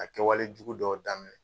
A kɛwale jugu dɔw daminɛ